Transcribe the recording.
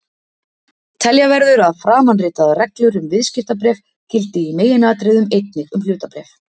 Telja verður að framanritaðar reglur um viðskiptabréf gildi í meginatriðum einnig um hlutabréf.